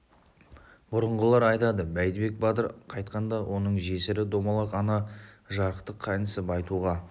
бұрынғылар айтады бәйдібек батыр қайтқанда оның жесірі домалақ ана жарықтық қайнысы байтуға